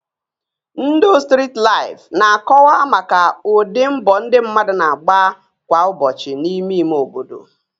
Ndụ strit laịfụ na-akọwa maka ụdị mbọ ndị mmadụ na-agba kwa ụbọchị n'ime ime obodo